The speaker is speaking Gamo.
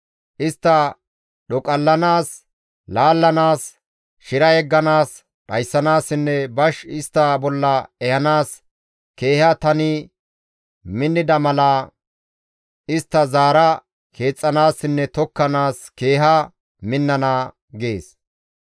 Istta dhoqallanaas, laallanaas, shira yegganaas, dhayssanaassinne bash istta bolla ehanaas keeha tani minnida mala istta zaara keexxanaassinne tokkanaas keeha minnana» gees.